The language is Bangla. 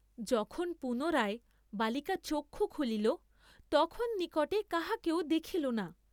যখন পুনরায় বালিকা চক্ষু খুলিল তখন নিকটে কাহাকেও দেখিল না।